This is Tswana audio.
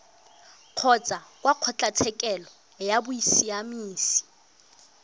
kgotsa kwa kgotlatshekelo ya bosiamisi